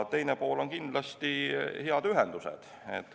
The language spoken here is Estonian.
Teine pool on kindlasti hea ühendus.